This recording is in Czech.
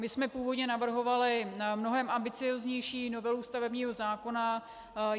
My jsme původně navrhovali mnohem ambicióznější novelu stavebního zákona.